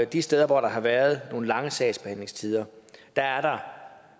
de steder hvor der har været nogle lange sagsbehandlingstider